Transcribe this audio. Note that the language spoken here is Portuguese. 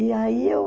E aí eu